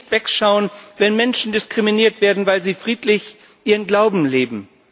Wir dürfen nicht wegschauen, wenn Menschen diskriminiert werden, weil sie friedlich ihren Glauben leben.